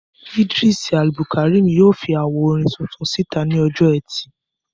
Idris Abdulkarim yóò fi àwo orin tuntun síta ní ọjọ́-ẹtì.